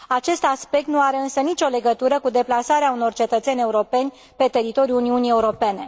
Acest aspect nu are însă nicio legătură cu deplasarea unor cetățeni europeni pe teritoriul Uniunii Europene.